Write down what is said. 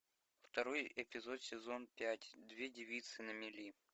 второй эпизод сезон пять две девицы на мели